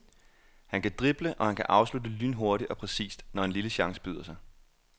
Han kan drible, og han kan afslutte lynhurtigt og præcist, når en lille chance byder sig.